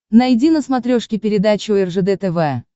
найди на смотрешке передачу ржд тв